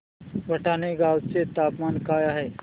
भटाणे गावाचे तापमान काय आहे